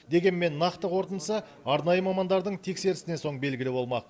дегенмен нақты қорытындысы арнайы мамандардың тексерісінен соң белгілі болмақ